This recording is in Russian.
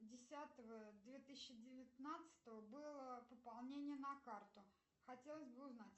десятого две тысячи девятнадцатого было пополнение на карту хотелось бы узнать